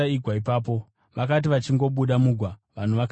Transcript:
Vakati vachingobuda mugwa, vanhu vakaziva Jesu.